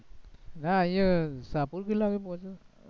ના અહિયા ટાપુ કેટલા વાગે પહોંચીએ?